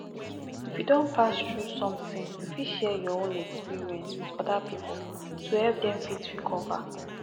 if you don pass throug something you fit share you own experience with oda pipo to help dem fit recover